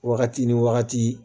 Wagati ni wagati